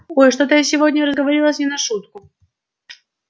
ой что-то я сегодня разговорилась не на шутку